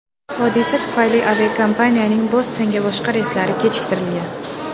Hodisa tufayli aviakompaniyaning Bostonga boshqa reyslari kechiktirilgan.